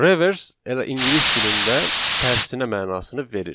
Reverse elə ingilis dilində tərsinə mənasını verir.